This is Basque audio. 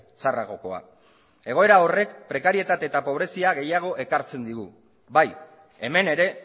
txarragokoa egoera horrek prekarietate eta pobrezia gehiago ekartzen digu bai hemen ere